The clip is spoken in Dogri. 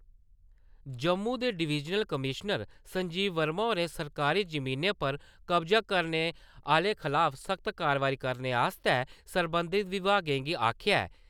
जम्मू दे डिवीजनल कमीशनर संजीव वर्मा होरें सरकारी जमीनें पर कब्जा करने आह्‌ले खलाफ सख्त कारवाई करने आस्तै सरबंधत बिभागें गी आक्खेया ऐ।